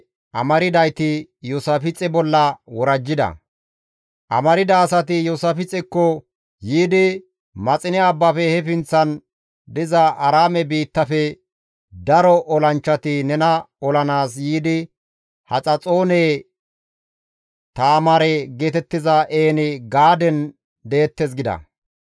Amarda asati Iyoosaafixekko yiidi, «Maxine abbafe he pinththan diza Aaraame biittafe daro olanchchati nena olanaas yiidi Haxaxoone Taamaare geetettiza En-Gaaden deettes» gida.